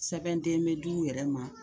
Sɛbɛnden bɛ d'u wɛrɛ ma